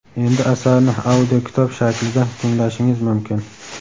Endi asarni audio kitob shaklida tinglashingiz mumkin.